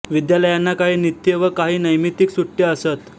विद्यालयांना काही नित्य व काही नैमित्तिक सुट्ट्या असत